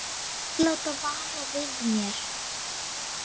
Þeir láta vara við mér.